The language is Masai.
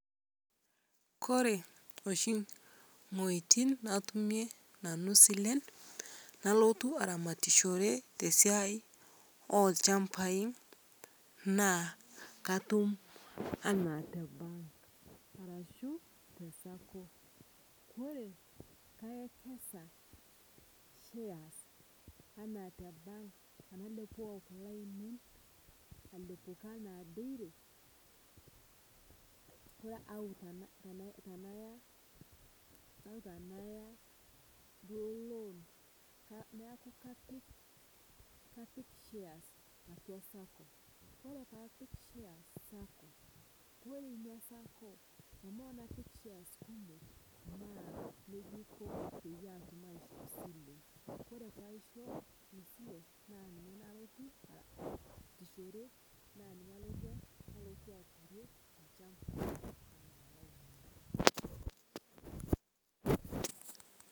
Kore oshi nghoitin narumie nanuu silen nalotuu aramatishere te siai elshampai naa katum anaa te ank arashuu te sacco, kore paiwekeza shares anaa te bank tanalepoo kulee ainen alepokii ana dairy kore au tanayaa duo loan neakuu kapik shares atua sacco kore paapik shares sacco kore inia sacco the more napik shares kumok naa nejaa eikoo peyie atum aishoo silee kore paisho inia silee naa ninyee nalotuu aasichore, naa ninye alotu aturie lchampa.